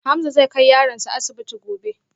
Hamza zai kai yaronsa asibiti gobe